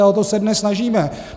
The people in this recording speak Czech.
A o to se dnes snažíme.